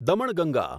Damanganga